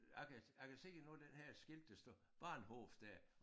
Jeg kan jeg kan se nogle af den her skilte der står bahnhof dér